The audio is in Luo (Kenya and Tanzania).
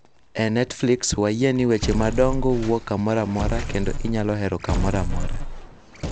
E Netflix, wayie ni weche madongo wuok kamoro amora kendo inyalo hero kamoro amora.